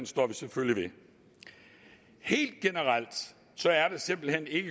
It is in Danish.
står vi selvfølgelig ved helt generelt er det simpelt hen ikke